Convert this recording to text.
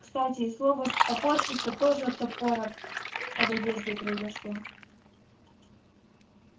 кстати и слово топорщится тоже от топора под одеждой произошло